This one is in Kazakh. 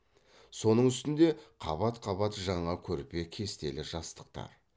соның үстінде қабат қабат жаңа көрпе кестелі жастықтар